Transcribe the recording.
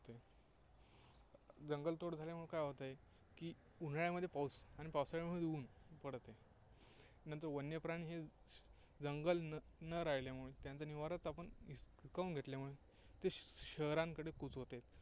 जंगलतोड झाल्यामुळे काय होत आहे की, उन्हाळ्यामध्ये पाऊस, आणि पावसाळ्यामध्ये ऊन पडत आहे. नंतर वन्यप्राणी हे जंगल न राहिल्यामुळे, त्यांचा निवाराच आपण हिसकावून घेतल्यामुळे ते शहरांकडे कूच होत आहेत.